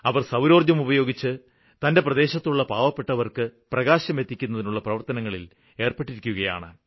അവര് സൌരോര്ജ്ജം ഉപയോഗിച്ച് തന്റെ പ്രദേശത്തുള്ള പാവപ്പെട്ടവര്ക്ക് പ്രകാശം എത്തിക്കുന്നതിനുള്ള പ്രവര്ത്തനത്തില് ഏര്പ്പെട്ടിരിക്കുകയാണ്